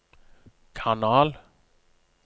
kanal